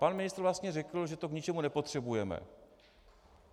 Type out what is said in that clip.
Pan ministr vlastně řekl, že to k ničemu nepotřebujeme.